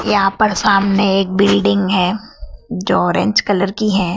यहां पर सामने एक बिल्डिंग है जो ऑरेंज कलर की है।